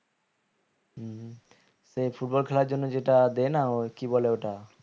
হম তো এই football খেলার জন্য যেটা দেন ওই কি বলে ওটা